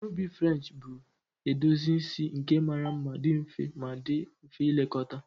Ihe ubi French bụ edozi isi nke mara mma, dị mfe ma dị mfe ilekọta